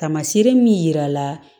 Tamaseere min yira la